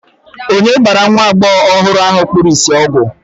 onye gbara nwa agbọghọ ahụ kpuru ìsì ọgwụ